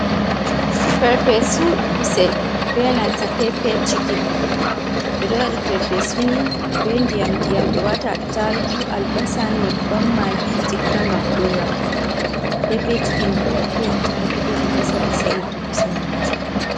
Perpesu kusel be nanta pepe chikin ɓeɗo waɗa Perpesu ni be diyam diyam ɓe waata attarugu, albasa, nyebbam, maagi, chitta ngam ura. pepe chikin bo attarugu be albasa ɓe sa'irta kusel majum.